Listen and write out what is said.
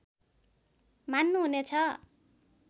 मान्नु हुने छ